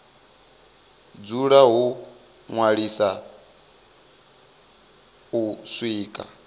dzula ho ṅwaliswa u swika